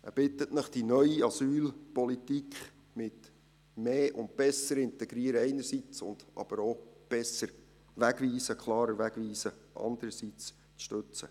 Er bittet Sie, die neue Asylpolitik mit mehr und besserem Integrieren einerseits, aber auch einem besseren, klareren Wegweisen andererseits zu stützen.